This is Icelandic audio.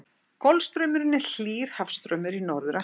Golfstraumurinn er hlýr hafstraumur í Norður-Atlantshafi.